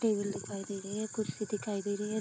Table दिखाई दे रही है कुर्सी दिखाई दे रही है ।